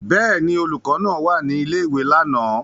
Bẹ́ẹ̀ ni, olùkọ́ náà wà ní ilé-ìwé lánàá.